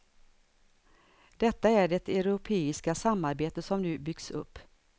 Detta är det europeiska samarbete som nu byggs upp.